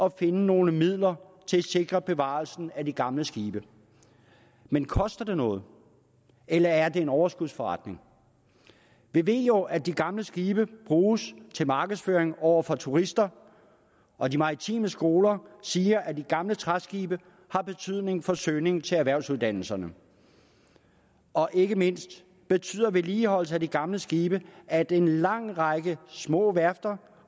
at finde nogle midler til at sikre bevarelsen af de gamle skibe men koster det noget eller er det en overskudsforretning vi ved jo at de gamle skibe bruges til markedsføring over for turister og de maritime skoler siger at de gamle træskibe har betydning for søgningen til erhvervsuddannelserne og ikke mindst betyder vedligeholdelse af de gamle skibe at en lang række små værfter